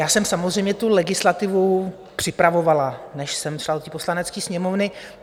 Já jsem samozřejmě tu legislativu připravovala, než jsem šla do Poslanecké sněmovny.